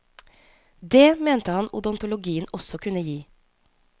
Dét mente han odontologien også kunne gi.